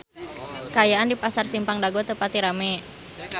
Kaayaan di Pasar Simpang Dago teu pati rame